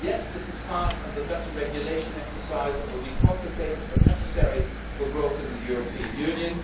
of years. Yes, this is part of the better regulation exercise that will be complicated but necessary for growth in the European